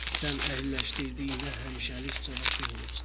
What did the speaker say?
Sən əhəlləşdirdiyinə həmişəlik cavabdeh olursan.